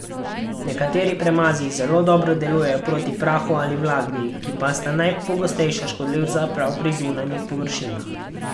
Nekateri premazi zelo dobro delujejo proti prahu ali vlagi, ki pa sta najpogostejša škodljivca prav pri zunanjih površinah.